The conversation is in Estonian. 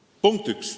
See oli punkt üks.